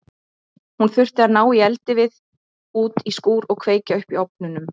Hún þurfti að ná í eldivið út í skúr og kveikja upp í ofnunum.